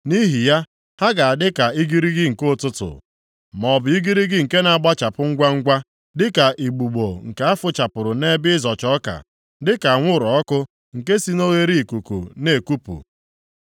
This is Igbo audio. Nʼihi ya, ha ga-adị ka igirigi nke ụtụtụ, maọbụ igirigi nke na-agbachapụ ngwangwa, dịka igbugbo nke a fụchapụrụ nʼebe ịzọcha ọka, dịka anwụrụ ọkụ nke si na oghereikuku na-ekupụ.